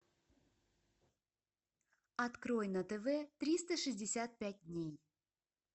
открой на тв триста шестьдесят пять дней